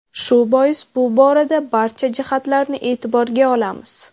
Shu bois bu borada barcha jihatlarni e’tiborga olamiz.